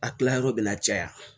A tilayɔrɔ bɛna caya